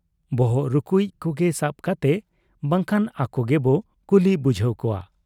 ᱵᱚᱦᱚᱜ ᱨᱩᱠᱩᱭᱤᱡ ᱠᱚᱜᱮ ᱥᱟᱵ ᱠᱟᱛᱮ ᱵᱟᱝᱠᱷᱟᱱ ᱟᱠᱚ ᱜᱮᱵᱚ ᱠᱩᱞᱤ ᱵᱩᱡᱷᱟᱹᱣ ᱠᱚᱣᱟ ᱾